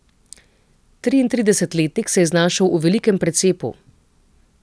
Triintridesetletnik se je znašel v velikem precepu.